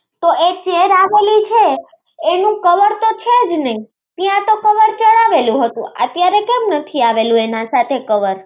તો એક chair આપેલી છે એનો તો cover છે જ નઈ ત્યાં તો cover ચઢાવેલું હતું, અત્યારે કેમ નથી આવેલું એના સાથે cover